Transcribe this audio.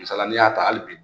Masaliya la n'i y'a ta hali bi